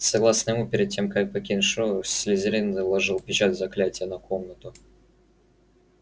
согласно ему перед тем как покинуть школу слизерин наложил печать заклятия на комнату